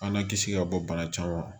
An na kisi ka bɔ bana caman ma